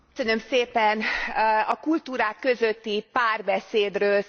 A kultúrák közötti párbeszédről szól ez a jelentés.